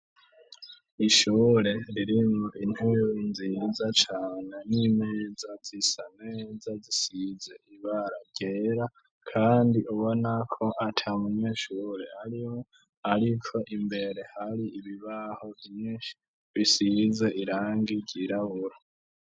Ishure ririmo intuyuinziriza cane n'imeza zisaneza zisize imbara gera, kandi ubonako ata munyenshure ariho, ariko imbere hari ibibaho inyinshi bisirize irangi ryirabura.